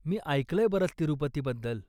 मी ऐकलंय बरंच तिरुपतीबद्दल.